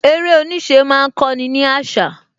Eré oníṣẹ́ má ń kó ni àṣà